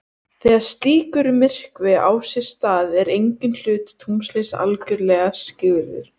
Þegar slíkur myrkvi á sér stað er enginn hluti tunglsins algjörlega skyggður.